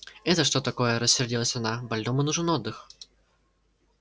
это что такое рассердилась она больному нужен отдых